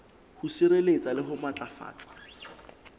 ho sireletsa le ho matlafatsa